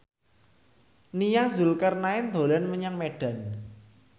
Nia Zulkarnaen dolan menyang Medan